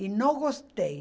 E não gostei.